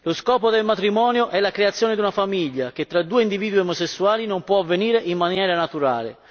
Lo scopo del matrimonio è la creazione di una famiglia che tra due individui omosessuali non può avvenire in maniera naturale.